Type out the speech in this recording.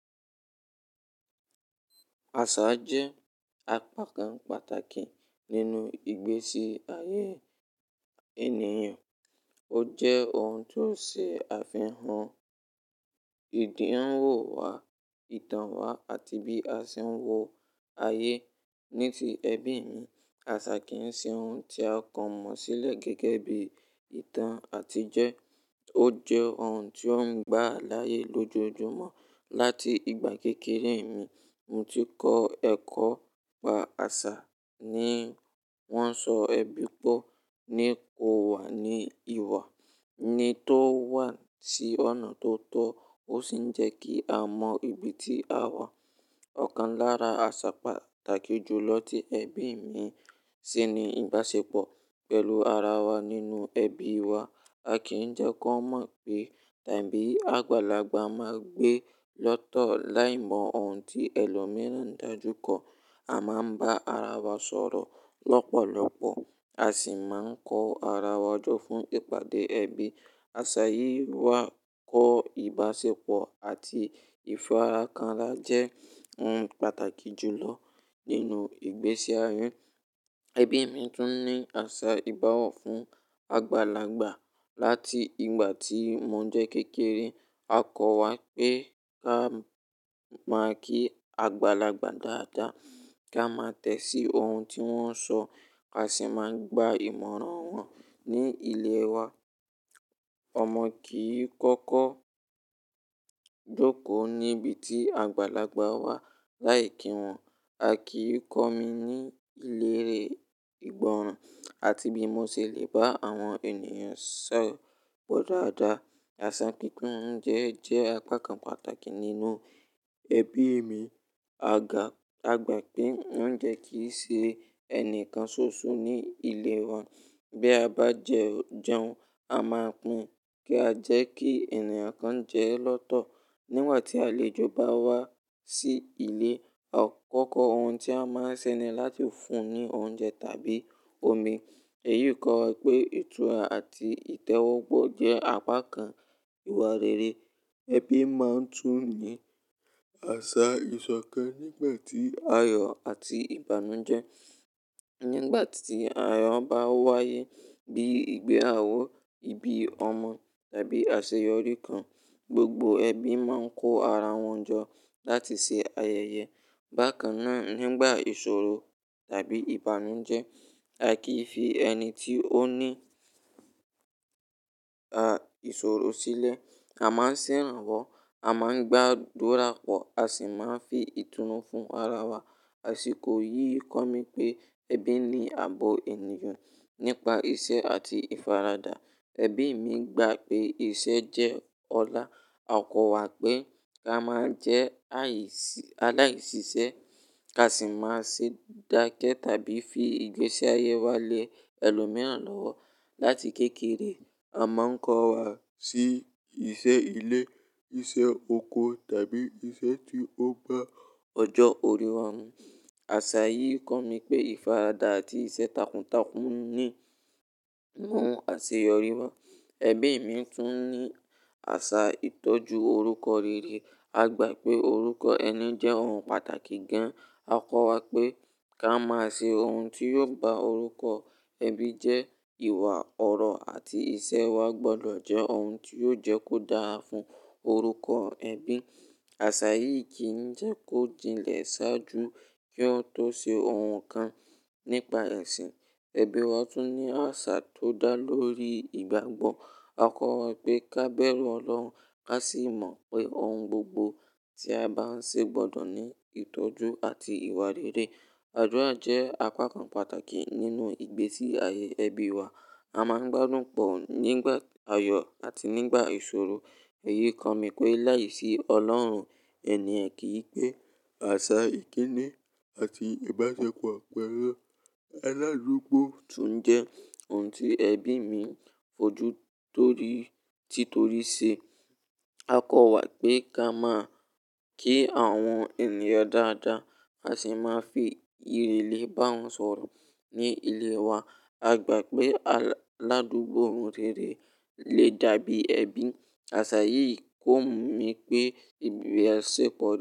Àṣà jẹ́ apá kan pàtàkì nínú ìgbésí ayé ènìyàn. Ó jẹ́ ohun tó ṣe àfihàn ìdíwọ̀n wa, ìtàn wa àti bí a ṣe ń wo ayé. Ní ti ẹbí mi, àṣà kì ń ṣe ohun tí a kàn mọ́ sílẹ̀ gẹ́gẹ́ bí ìtàn àtijo. Ó jẹ́ ohun tí ó ń gbà láyè lójoojúmọ́. Láti ìgbà kékeré mi, mo ti kọ́ ẹ̀kọ́ n pa àṣà. Ni wọ́n sọ ẹbí pọ́ ní ko wà ní ìwà, ni to wà sí ọ̀nà tó tọ́, ó sì ń jẹ́ kí a mọ ibi tí a wà. Ọ̀kan lára àṣà pàtàkì jù lọ ti ẹbí mi sì ni ìbáṣepọ̀ pẹ̀lú ara wa nínú ẹbí wa. A kì í n jẹ́ kó mọ̀ pé tabí àgbàlagbà ma gbe lọ́tọ̀ láì mọ ohun tí ẹlòmíràn ń dájú kọ. A máa ń bá ara wa sọ̀rọ̀ lọ́pọ̀lọpọ̀, a sì máa ń kọ ara wa jọ fún ìpàdé ẹbí. Àṣà yìí wá kọ ìbáṣepọ̀ àti ìfarakanrá jẹ́ ohun pàtàkì jùlọ nínú ìgbésí ayé. Ẹbí mi tún ní àṣà ìbowọ̀ fún àgbàlagbà. Láti ìgbà tí mo jẹ́ kékeré, a kọ́ wa pé ká máa kí àgbàlagbà dáadáa, ká máa tẹ́sí ohun tí wọ́n sọ, a sì máa gba ìmọ̀ràn wọn ní ilẹ̀ wa. Ọmọ kì í kọ́kọ́ jókòó níbi tí àgbàlagbà wà láì kí wọn. A kì í kọ́ mi ní ìlérè ìgbọràn àti bí mo ṣe lè bá àwọn ènìyàn sọ̀rọ̀ pọ̀ dáadáa. Àṣà pípín oúnjẹ jẹ́ apá kan pàtàkì nínú ẹbí mi. A gbà pé oúnjẹ kì í ṣe ẹnìkan ṣoṣo ní ilé wa. Bí a bá jẹun, a máa pín kí a jẹ́ kí ènìyàn kan jẹ lọ́tọ̀. Nígbà tí àlejò bá wá sí ilé, akọ̀ko ohun tí on máa nṣe ni láti fún un ní oúnjẹ tàbí omi. Èyí kọ́ wa pé ìtura àti ìtẹ́wọ́gbà jẹ́ apá kan ìwà rere. Ẹbí máa ń tún ní àṣà ìsọ̀kẹ́ nígbà tí ayọ̀ àti ìbànújẹ́. Nígbà tí ayọ̀ bá wáyé bí ìgbéyàwó, ìbí ọmọ tàbí àṣeyọrí kan, gbogbo ẹbí máa ń kó ara wọn jọ láti ṣe ayẹyẹ. Bákan náà, nígbà ìṣòro tàbí ìbànújẹ́, a kì í fi ẹni tí ó ní ìṣòro sílẹ̀. A máa ń ṣèrànwọ́, a máa ń gba adúrà pọ̀, a sì máa ń fi ìtùnú fún ara wa. Àṣiko yìí kọ́ mi pé ẹbí ni ààbò ènìyàn nípa iṣẹ́ àti ìfaradà. Ẹbí mi gba pé iṣẹ́ jẹ́ ọlá. A kọ́ wa pé ká máa jẹ́ aláìṣiṣẹ́, ká sì máa ṣe dákẹ́ tàbí fi ìgbésí ayé wa lẹ ẹlòmíràn lọ́wọ́. Láti kékeré, a máa ń kọ́ wa sí iṣẹ́ ilé, iṣẹ́ oko tàbí iṣẹ́ tí ó bá ọjọ́ orí wa mú. Àṣà yìí kọ́ mi pé ìfaradà àti iṣẹ́ takuntakun ni ohun àṣeyọrí wa. Ẹbí mi tún ní àṣà ìtọ́jú orúkọ rere. A gbà pé orúkọ ẹni jẹ́ ohun pàtàkì gan. A kọ́ wa pé ká máa ṣe ohun tí yóò bá orúkọ ẹbí jẹ́ ìwà ọ̀rọ̀ àti ìṣe wa gbọdọ̀ jẹ́ ohun tí yóò jẹ́ kó dáa fún orúkọ ẹbí. Àṣà yìí kì ń jẹ́ kó jilẹ̀ ṣáájú kí ó tó ṣe ohun kan nípa ẹ̀sìn. Ẹbí wa tún ní àṣà tó dá lórí ìgbàgbọ́. A kọ́ wa pé ká bẹ̀rù Ọlọ́run, ka sì mọ̀ pé ohun gbogbo tí a bá ń ṣe gbọdọ̀ ní ìtọ́jú àti ìwà rere. Adúrà jẹ́ apá kan pàtàkì nínú ìgbésí ayé ẹbí wa. A máa ń gbádùn pọ̀ nígbà ayọ̀ àti nígbà ìṣòro. Èyí kọ́ mi pé láìsí Ọlọ́run ènìyàn kì í pẹ́. Àṣà ìkíni àti ìbáṣepọ̀ pẹ̀lú aládùúgbò tún jẹ́ ohun tí ẹbí mi fojú títoríse. A kọ́ wa pé ká máa kí àwọn ènìyàn dáadáa, ka sì máa fi ìrẹ̀lẹ̀ bá wọn sọ̀rọ̀ ní ilé wa. A gbà pé aládùúgbò rerẹ́ lè dàbí ẹbí. Àṣà yìí kọ́ mi pé ìbílẹ̀ ṣe pọ̀